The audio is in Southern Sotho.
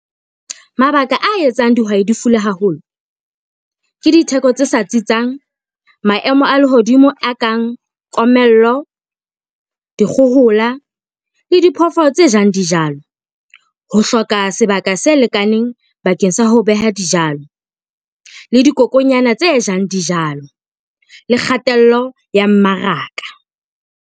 Mabaka a etsang dihwai di haholo ke ditheko tse sa tsitsang, maemo a lehodimo a kang komello, dikgohola le diphoofolo tse jang dijalo. Ho hloka sebaka se lekaneng bakeng sa ho beha dijalo le dikokonyana tse jang dijalo le kgatello ya mmaraka.